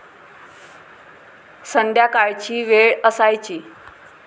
संध्याकाळची वेळ असायची.